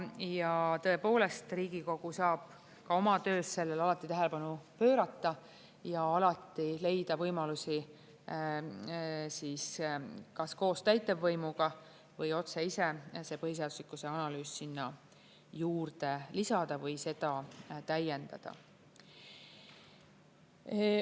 Ja tõepoolest, Riigikogu saab ka oma töös sellele alati tähelepanu pöörata ja leida võimalusi kas koos täitevvõimuga või otse ise see põhiseaduslikkuse analüüs sinna juurde lisada või seda täiendada.